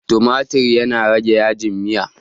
tumatir yana rage yajin Miya